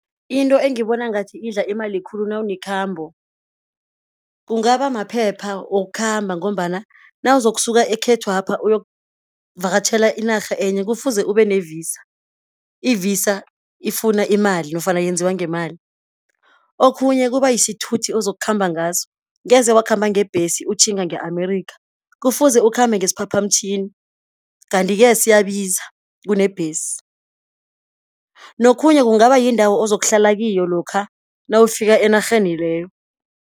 Into engibona ngathi idla imali khulu nawunekhambo, kungaba maphepha wokukhamba, ngombana nawuzokusuka ekhethwapha uyokuvakatjhela inarha enye kufuze ubene-Visa, i-Visa ifuna imali nofana yenziwa ngemali. Okhunye kuba yisithuthi ozokhamba ngaso, ngeze wakhamba ngebhesi utjhinga nge- Amerika, kufuze ukhambe ngesiphaphamtjhini, kanti-ke siyabiza kunebhesi. Nokhunye kungaba yindawo ozokuhlala kiyo, lokha nawufika enarheni leyo.